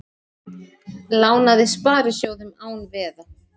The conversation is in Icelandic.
Lánaði sparisjóðum án veða